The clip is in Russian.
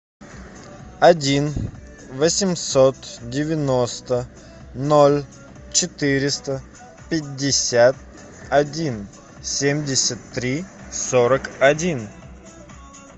один восемьсот девяносто ноль четыреста пятьдесят один семьдесят три сорок один